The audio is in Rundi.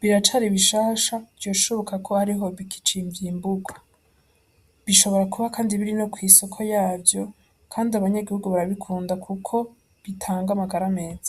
biracari bishasha vyoshoka ko ariho bikicimbugwa bishobora kuba kandi biri no kw'isoko yavyo kandi abanyagihugu barabikunda kuko bitanga amagara meza.